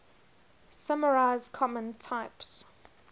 summarize common types